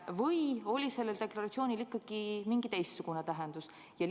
Või oli sellel deklaratsioonil ikkagi mingi teistsugune tähendus?